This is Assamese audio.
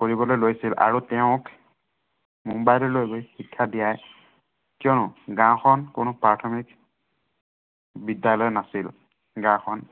কৰিবলৈ লৈছিল আৰু তেওঁক মুম্বাইলৈ লৈ গৈ শিক্ষা দিয়াই, কিয়নো গাওঁখন কোনো প্ৰাথমিক বিদ্য়ালয় নাছিল। গাওঁখন